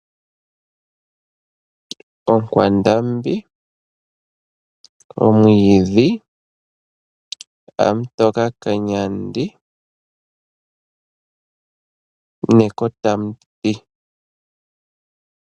Oonkwandambi, omwiidhi, amutoka kanyandi nekota lyomuti.